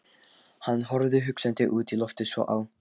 Hann horfði hugsandi út í loftið, svo á